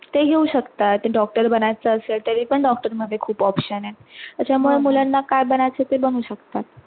ते घेऊ शकतात डॉक्टर बनायचं असेल तरी पण doctor मध्ये खूप option आहेत त्याचा मुळे मुलांना काय बनायचे ते बनू शकतात.